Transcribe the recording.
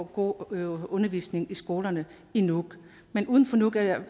god undervisning i skolerne i nuuk men uden for nuuk